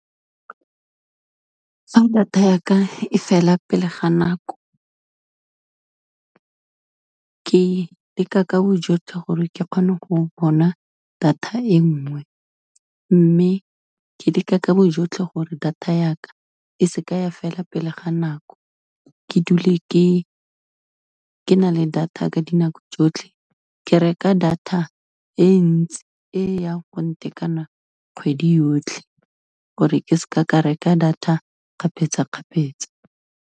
Fa data yaka e fela pele ga nako, ke leka ka bojotlhe gore ke kgone go bona data e nngwe mme, ke leka ka bojotlhe gore data yaka e se ke ya fela pele ga nako, ke dule ke na le data ka dinako tsotlhe. Ke reka data e ntsi e yang gong tekanang, kgwedi yotlhe gore ke se ka ka reka data kgapetsa-kgapetsa.